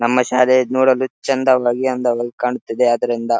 ನಮ್ಮ ಶಾಲೆ ನೋಡಲು ಚಂದವಾಗಿ ಅಂದವಾಗಿ ಕಾಣುತ್ತಿದೆ ಅದ್ರಿಂದ --